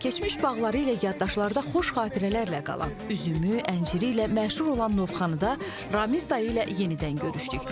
Keçmiş bağları ilə yaddaşlarda xoş xatirələrlə qalan üzümü, ənciri ilə məşhur olan Novxanıda Ramiz dayı ilə yenidən görüşdük.